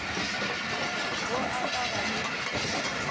wo o ka ba le